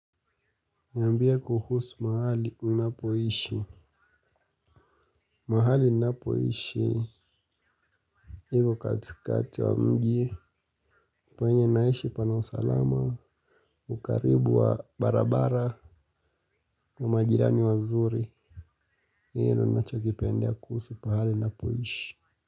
Niambie kuhusu mahali unapoishi. Mahali napoishi hivyo katikati wa mji penye naishi pana usalama. Ukaribu wa barabara na majirani wazuri. Hio nachokipendia kuhusu pahali unapoishi.